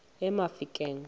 emafikeng